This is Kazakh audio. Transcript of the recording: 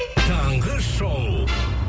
таңғы шоу